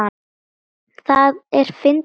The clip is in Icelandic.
Það er fyndið fólk.